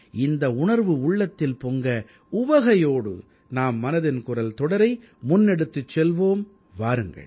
இந்த உணர்வு உள்ளத்தில் பொங்க உவகையோடு நாம் மனதின் குரல் தொடரை முன்னெடுத்துச் செல்வோம் வாருங்கள்